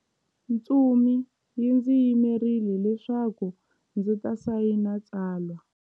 Ntsumi yi ndzi yimerile leswaku ndzi ta sayina tsalwa.